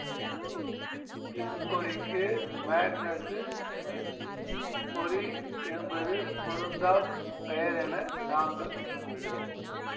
இப்பொறிக்கு Magnus Smith பொறி என்பது பொருந்தாப் பெயர் என நாங்கள் நம்புகிறோம்